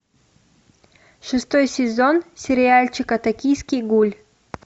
шестой сезон сериальчика токийский гуль